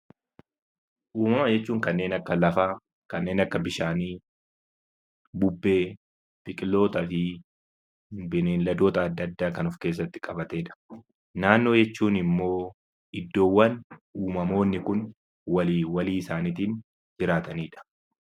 Uumama jechuun kanneen akka lafaa, kanneen akka bishaanii, buubbee, biqilootaa fi beeyladoota adda addaa kan of keessatti qabatedha. Naannoo jechuun immoo iddoowwan uumamoonni kun walii walii isaaniitiin jiraatanidha.